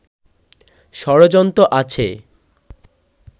ষড়যন্ত্র আছে